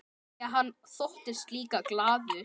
Því hann þóttist líka glaður.